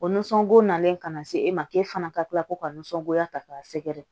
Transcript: O nisɔngo nalen ka na se e ma e fana ka tila ko ka nisɔngoya ta k'a sɛgɛrɛ